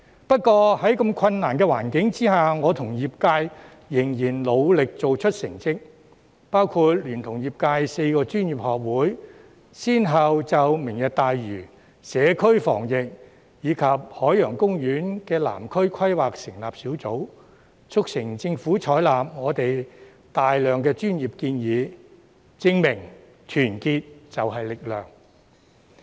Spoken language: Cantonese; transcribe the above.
不過，在如此困難的環境下，我跟業界仍然努力做出成績，包括我聯同業界4個專業學會，先後就"明日大嶼"、社區防疫，以及海洋公園及南區規劃成立小組，促成政府採納我們大量專業建議，證明團結就是力量。